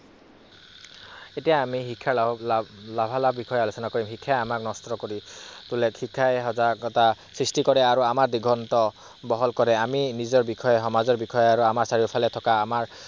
এতিয়া আমি শিক্ষাৰ লাভালাভৰ কথা আলোচনা কৰিম, শিক্ষাই সজাগতা সৃষ্টি কৰে আৰু আমাৰ দেশৰ বহল কৰে। আমি আমাৰ বিষয়ে, সমাজৰ বিষয়ে আৰু আমাৰ চাৰিওফালে থকা